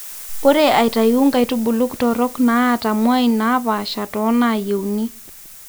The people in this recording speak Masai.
ore aitayu nkaitubulu torok naata muain naapaasha tonaayieuni